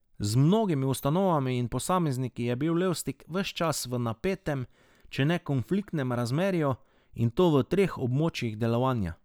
Z mnogimi ustanovami in posamezniki je bil Levstik ves čas v napetem, če ne konfliktnem razmerju, in to v treh območjih delovanja.